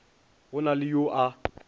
go na le yo a